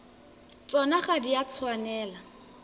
tsona ga di a tshwanela